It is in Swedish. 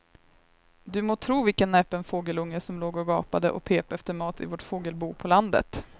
Du må tro vilken näpen fågelunge som låg och gapade och pep efter mat i vårt fågelbo på landet.